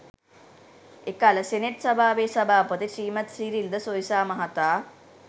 එකල සෙනෙට් සභාවේ සභාපති ශ්‍රීමත් සිරිල් ද සොයිසා මහතා